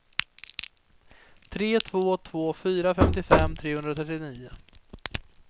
tre två två fyra femtiofem trehundratrettionio